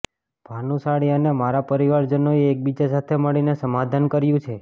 ભાનુશાળી અને મારા પરિવારજનોએ એકબીજા સાથે મળીને સમાધાન કર્યુ છે